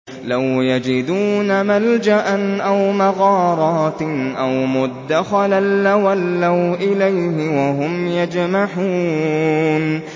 لَوْ يَجِدُونَ مَلْجَأً أَوْ مَغَارَاتٍ أَوْ مُدَّخَلًا لَّوَلَّوْا إِلَيْهِ وَهُمْ يَجْمَحُونَ